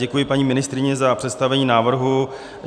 Děkuji paní ministryni za představení návrhu.